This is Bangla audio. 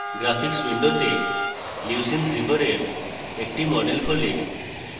graphics window তে leucine zipper এর একটি model খোলে